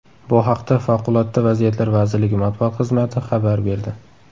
Bu haqda Favqulodda vaziyatlar vazirligi matbuot xizmati xabar berdi .